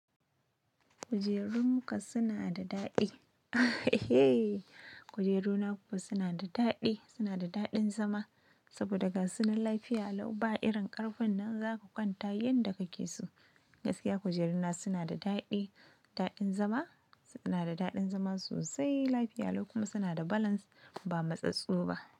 Kujerunka suna da daɗi. Kujeru na kuwa suna da daɗi, suna da daɗin zama saboda ga su na lafiya lau ba irin ƙarfin nan zaka kwanta yanda kake so. Gaskiya kujeru na suna da daɗi, daɗin zama, suna da daɗin zama sosai, lafiya lau kuma suna da balance ba matsatsu ba.